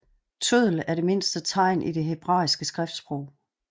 Tøddel er det mindste tegn i det hebraiske skriftsprog